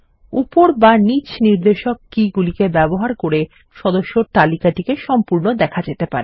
উপর বা নিচ নির্দেশক তীর কী গুলি ব্যবহার করে সদস্যদের তালিকাটি সম্পূর্ণ দেখা যেতে পারে